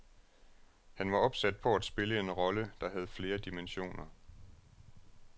Han var opsat på at spille en rolle, der havde flere dimensioner.